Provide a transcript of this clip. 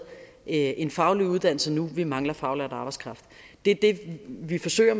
en faglig uddannelse nu vi mangler faglært arbejdskraft det er det vi forsøger